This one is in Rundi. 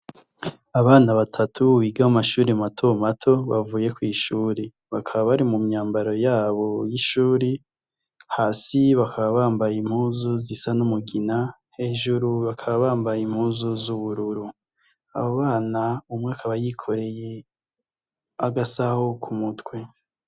Abana batatu biga mumashure matomato bavuye kwishure bakaba bari mumyambaro yabo yishuri hasi bakaba bambaye impuzu zisa numugina hejuru bakaba bambaye impuzu zubururu abo bana umwe akaba yikoreye agasaho kumutwe